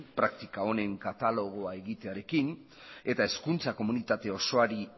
praktika honen katalogoa egitearekin eta hezkuntza komunitate osoari